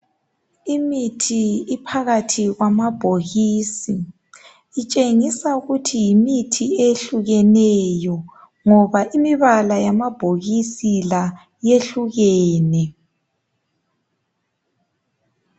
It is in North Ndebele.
Imithi iphakathi kwamabhokisini. Utshengisa ukuthi yimithi ehlukeneyo ngoba imibala yamabhokisi la iyehlukene.